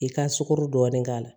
I ka sukaro dɔɔni k'a la